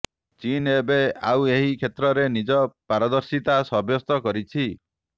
ଚୀନ୍ ଏବେ ଆଉ ଏହି କ୍ଷେତ୍ରରେ ନିଜ ପାରଦର୍ଶିତା ସାବ୍ୟସ୍ତ କରିଛି